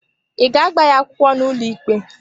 Ị ga-agba ya akwụkwọ n'ụlọikpe?